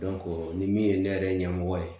ni min ye ne yɛrɛ ɲɛmɔgɔ ye